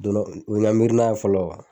Don dɔ o ye n ka miirina ye fɔlɔ